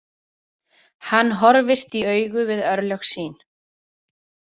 Hann horfist í augu við örlög sín.